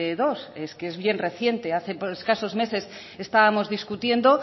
dos es que es bien reciente hace escasos meses estábamos discutiendo